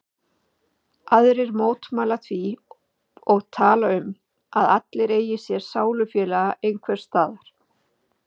Aðrir mótmæla því og tala um að allir eigi sér sálufélaga einhvers staðar.